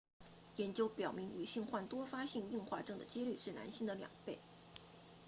研究发现女性患多发性硬化症 ms 的几率是男性的两倍